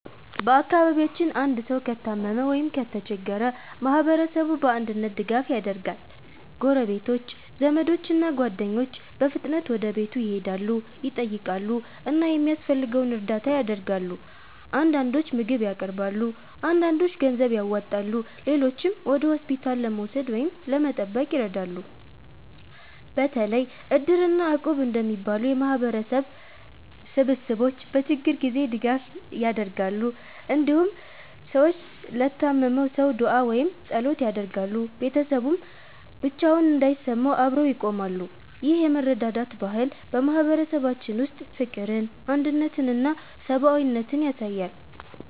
በአካባቢያችን አንድ ሰው ከታመመ ወይም ከተቸገረ ማህበረሰቡ በአንድነት ድጋፍ ያደርጋል። ጎረቤቶች፣ ዘመዶች እና ጓደኞች በፍጥነት ወደ ቤቱ ይሄዳሉ፣ ይጠይቃሉ እና የሚያስፈልገውን እርዳታ ያደርጋሉ። አንዳንዶች ምግብ ያቀርባሉ፣ አንዳንዶች ገንዘብ ያዋጣሉ፣ ሌሎችም ወደ ሆስፒታል ለመውሰድ ወይም ለመጠበቅ ይረዳሉ። በተለይ Iddir እና Equb እንደሚባሉ የማህበረሰብ ስብስቦች በችግር ጊዜ ትልቅ ድጋፍ ያደርጋሉ። እንዲሁም ሰዎች ለታመመው ሰው ዱዓ ወይም ጸሎት ያደርጋሉ፣ ቤተሰቡም ብቻውን እንዳይሰማው አብረው ይቆማሉ። ይህ የመረዳዳት ባህል በማህበረሰባችን ውስጥ ፍቅርን፣ አንድነትን እና ሰብአዊነትን ያሳያል።